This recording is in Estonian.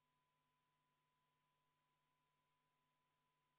Selle on esitanud Eesti Konservatiivse Rahvaerakonna fraktsioon, juhtivkomisjon on jätnud selle arvestamata.